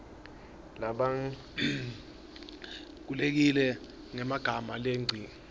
labalulekile ngemagama langengci